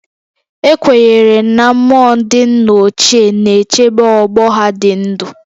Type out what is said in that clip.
Ekwenyere na mmụọ ndị nna ochie na-echebe ọgbọ ha dị ndụ